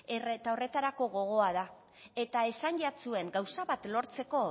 eta horretarago gogoa da eta esan jatzuen gauza bat lortzeko